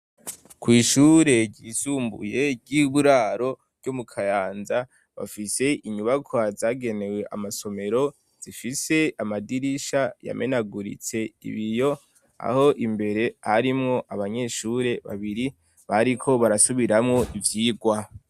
Kw'ishure ryisumbuye ry'iburaro ryo mu kayanza bafise inyubakwa zagenewe amasomero zifise amadirisha yamenaguritse ibiyo aho imbere harimwo abanyeshure babiri bariko barasubiramwo ivyirwa.